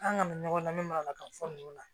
An kana ɲɔgɔn lamɛn malikan fɔ ninnu na